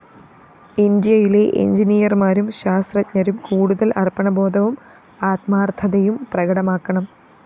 ഇന്ത്യയിലെ എന്‍ജിനീയര്‍മാരും ശാസ്ത്രജ്ഞരും കൂടുതല്‍ അര്‍പ്പണബോധവും ആത്മാര്‍ത്ഥതയും പ്രകടമാക്കണം